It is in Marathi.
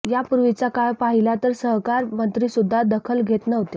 यापूर्वीचा काळ पाहिला तर सहकार मंत्रीसुध्दा दखल घेत नव्हते